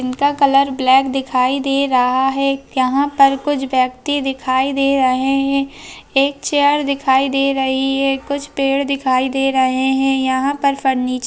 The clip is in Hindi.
इनका कलर ब्लैक दिखाई दे रहा है| यहाँ पर कुछ व्यक्ति दिखाई दे रहे हैं एक चेयर दिखाई दे रही है कुछ पेड़ दिखाई दे रहे हैं यहाँ पर फर्नीचर --